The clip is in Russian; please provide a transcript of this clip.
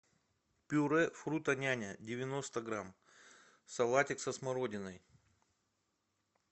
пюре фрутоняня девяносто грамм салатик со смородиной